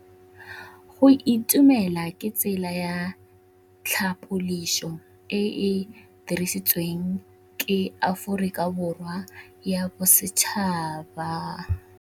Go itumela ke tsela ya tlhapolisô e e dirisitsweng ke Aforika Borwa ya Bosetšhaba.